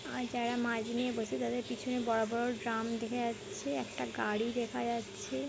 আর যারা মাছ নিয়ে বসে তাদের পিছনে বড় বড় ড্রাম দেখা যাচ্ছে। একটা গাড়ি দেখা দেখা যাচ্ছে।